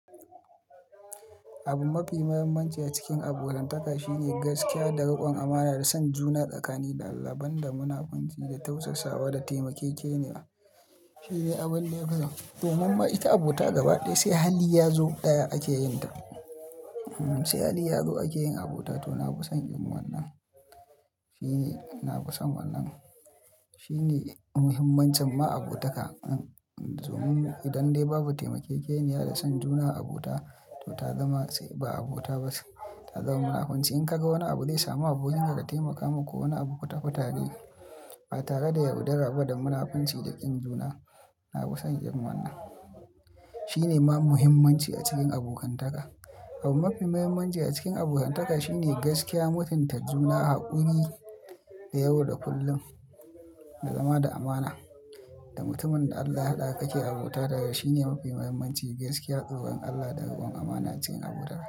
Abu mafi muhimmanci a cikin abotantaka shine gaskiya da riƙon amana da son juna tsakanin Allah ban munafunci da tausasawa da taimakekeniya. Shi ne abin da ya fi dashi. Domin ma ita abota gaba ɗaya sai hali ya zo ɗaya ake yin ta. Sai hali ya zo ake yin abota. To na kusan irin wannan. Shi ne, na kusan wannan. Shi ne muhimmancin ma abotaka. Don idan dai babu taimakekeniya da son juna abota, to ta zama sai ba abota ba. Ta zama munafunci. In ka ga wani abu zai samu abokinka ka taimaka maka ko wani abu ka fita rike. A tare da ya, yaudarar ba da munafunci da ƙin juna. Na kusan yin wannan. Shi ne ma muhimmanci a cikin abokantaka. Abu mafi muhimmanci a cikin abokantaka shine gaskiya, mutunta juna haƙuri da yawa da kullum, da zama da amana. Da mutumin da Allah ya haɗa ka ke abota da shi ne mafi muhimmanci. Gaskiya, ƙa'urar Allah da riƙon amana a cikin abotaka.